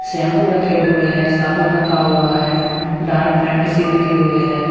Shampoo रखे हुए हैं साबुन रखा हुआ है डार्क फैंटेसी रखी हुई है।